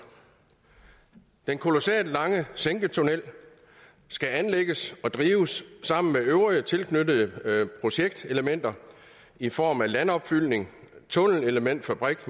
den kolossalt lange sænketunnel skal anlægges og drives sammen med øvrige tilknyttede projektelementer i form af landopfyldning tunnelelementfabrik